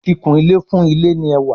Kìkunlé fún ilé ní ẹwà.